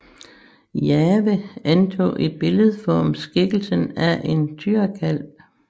Jahve antog i billedform skikkelsen af en tyrekalv